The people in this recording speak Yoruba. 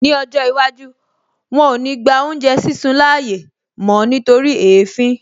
Ní ọjọ́ iwájú, wọn ò ní gba oúnjẹ sísun láàyè mó nítorí èéfín